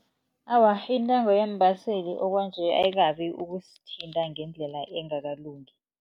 Awa, intengo yeembaseli okwanje ayikabi ukusithinta ngendlela engakalungi.